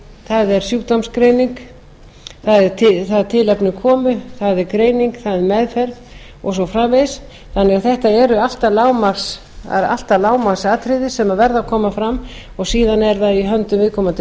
það er sjúkdómsgreining það er tilefni komu það er greining það er meðferð og svo framvegis þannig að það eru alltaf lágmarksatriði sem verða að koma fram og síðan er það í höndum viðkomandi